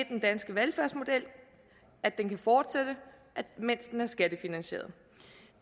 den danske velfærdsmodel kan fortsætte mens den er skattefinansieret